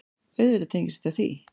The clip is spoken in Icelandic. Auðvitað tengist þetta því.